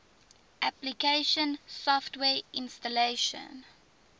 application software installation